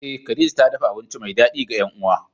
Eh khadija ta dafa abinci mai dadi ga yan uwa.